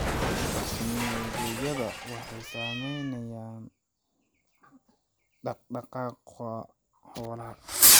Dhul daaqsimeedyada waxaa saameynaya dhaqdhaqaaqa xoolaha.